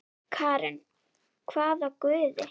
Karen: hvaða guði?